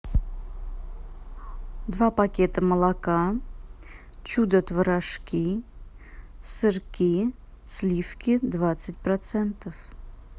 два пакета молока чудо творожки сырки сливки двадцать процентов